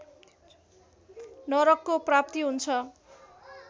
नरकको प्राप्ति हुन्छ